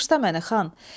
Bağışla məni, xan.